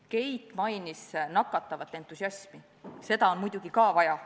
Keit mainis nakatavat entusiasmi, seda on muidugi ka vaja.